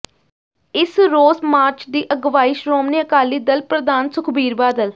ਇਸ ਰੋਸ ਮਾਰਚ ਦੀ ਅਗਵਾਈ ਸ਼ੋ੍ਰਮਣੀ ਅਕਾਲੀ ਦਲ ਪ੍ਰਧਾਨ ਸੁਖਬੀਰ ਬਾਦਲ